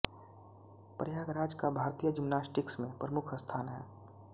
प्रयागराज का भारतीय जिम्नास्टिक्स में प्रमुख स्थान है